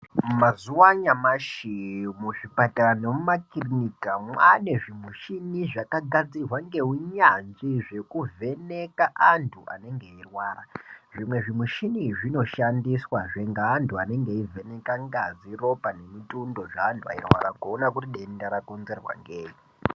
Mazuvaanyamashi muzvipatara nemumaklinika maane zvimushina zvakagadzirwa nehunyanzvi zvekuvheneka antu vanenge beyirwara ,zvimwe zvimishini zvinoshandiswa zve ngeantu vanenge veyivheneke ngazi, ropa ,ngemitundo zveanhu beyirwarwa bogoona kuti ndenda rakonzerwa ngeyi.